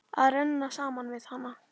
Að renna saman við hana.